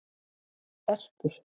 Erpur